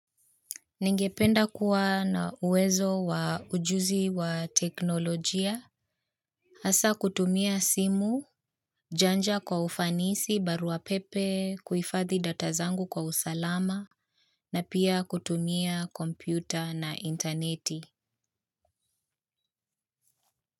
Ningependa kuwa na uwezo wa ujuzi kwa teknolojia hasa kutumia simu, janja kwa ufanisi, baruapepe, kuhifadhi data zangu kwa usalama, na pia kutumia kompyuta na interneti.